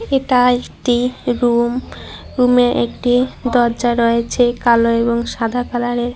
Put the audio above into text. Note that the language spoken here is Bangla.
এটা একটি রুম রুমে -এ একটি দরজা রয়েচে কালো এবং সাদা কালারের -এর।